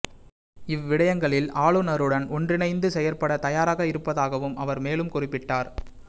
இவ்விடயங்களில் ஆளுநருடன் ஒன்றிணைந்து செயற்பட தயாராக இருப்பதாகவும் அவர் மேலும் குறிப்பிட்டார்